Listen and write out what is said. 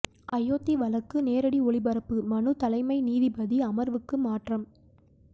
அயோத்தி வழக்கு நேரடி ஒளிபரப்பு மனு தலைமை நீதிபதி அமர்வுக்கு மாற்றம்